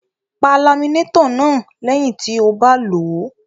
Pa laminétọ̀ náà lẹ́yìn tí o bá lò ó.